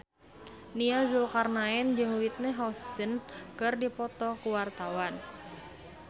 Nia Zulkarnaen jeung Whitney Houston keur dipoto ku wartawan